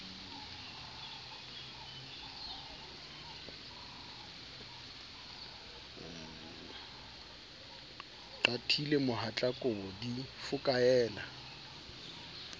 qatile mohatla kobo di fokaela